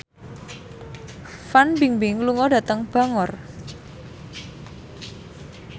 Fan Bingbing lunga dhateng Bangor